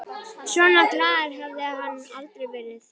Svona glaður hafði hann aldrei verið.